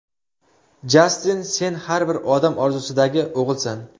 Jastin sen har bir odam orzusidagi o‘g‘ilsan.